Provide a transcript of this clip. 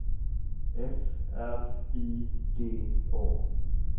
F R I D A